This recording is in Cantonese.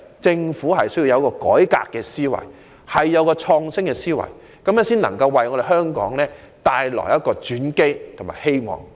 政府必須有改革和創新的思維，才能為香港帶來轉機和希望。